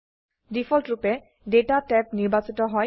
ডিফল্টৰুপে data tab নিৰ্বাচিত হয়